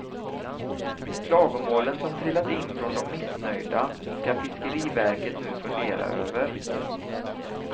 Klagomålen som trillat in från de missnöjda ska fiskeriverket nu fundera över.